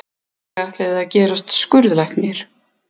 Ég ætlaði að gerast skurðlæknir.